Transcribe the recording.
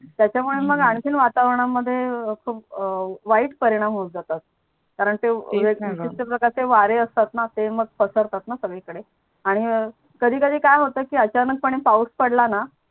त्याच्यामूळे मग आणखिन वातावरणमध्ये खूप वाईट परिणाम होत जातात कारण ते तेच णा ग कित तर प्रकारचे वारे असतात णा ते मग पसरतात णा सगडी कडे आणि कधी कधी काय होत अचानक पाऊस पडलान